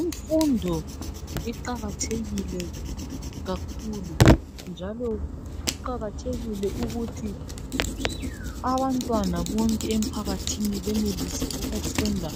Imfundo iqakathekile kakhulu njalo kuqakathekile ukuthi abantwana bonke emphakathini benelise ukufunda